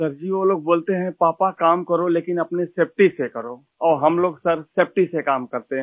sir ji वो लोग बोलते हैं पापा काम करो लेकिन अपनी सेफटी से करो और हम लोग सरसेफटी से काम करते हैं